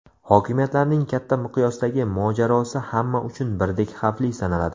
Hokimiyatlarning katta miqyosdagi mojarosi hamma uchun birdek xavfli sanaladi.